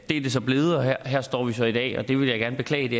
er det så blevet og her står vi så i dag det vil jeg gerne beklage det